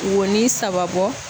Wonin saba bɔ